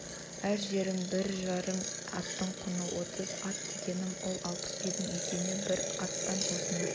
әр жерім бір жарым аттың құны отыз ат дегенім сол алпыс үйдің екеуіне бір аттан осыны